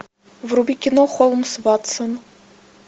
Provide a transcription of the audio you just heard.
вруби кино холмс ватсон